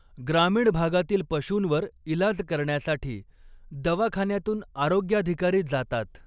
ग्रामीण भागातील पशूंवर इलाज करण्यासाठी दवाखान्यांतून आरोग्याधिकारी जातात.